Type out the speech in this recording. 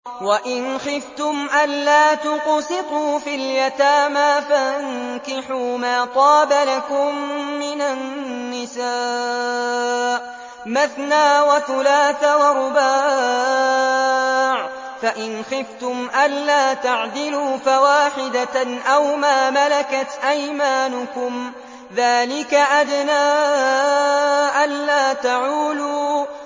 وَإِنْ خِفْتُمْ أَلَّا تُقْسِطُوا فِي الْيَتَامَىٰ فَانكِحُوا مَا طَابَ لَكُم مِّنَ النِّسَاءِ مَثْنَىٰ وَثُلَاثَ وَرُبَاعَ ۖ فَإِنْ خِفْتُمْ أَلَّا تَعْدِلُوا فَوَاحِدَةً أَوْ مَا مَلَكَتْ أَيْمَانُكُمْ ۚ ذَٰلِكَ أَدْنَىٰ أَلَّا تَعُولُوا